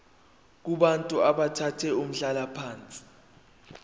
kubantu abathathe umhlalaphansi